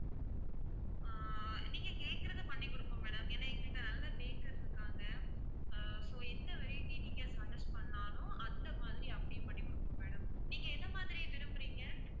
ஆஹ் நீங்க கேட்கிறதை பண்ணி குடுப்போம் madam ஏன்னா எங்க கிட்ட நல்ல bakers இருக்காங்க ஆஹ் so எந்த variety நீங்க suggest பண்ணாலும் அந்த மாதிரி அப்படியே பண்ணி குடுப்போம் madam நீங்க எந்த மாதிரி விரும்புறீங்க?